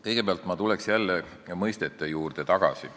Kõigepealt tulen jälle mõistete juurde tagasi.